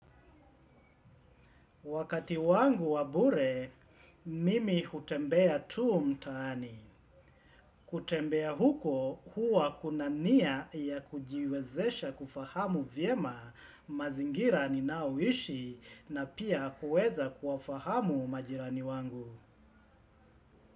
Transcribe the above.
Wakati wangu wa bure mimi hutembea tu mtaani kutembea huko, huwa kunania ya kujiwezesha kufahamu vyema mazingira ni naoishi na pia kuweza kuwafahamu majirani wangu.